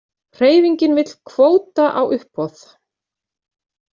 Hreyfingin vill kvóta á uppboð